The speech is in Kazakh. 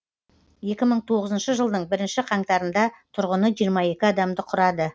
екі мың тоғызыншы жылдың бірінші қаңтарында тұрғыны жиырма екі адамды құрады